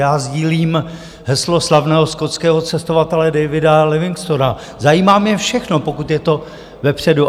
Já sdílím heslo slavného skotského cestovatele Davida Livingstona: zajímá mě všechno, pokud je to vepředu.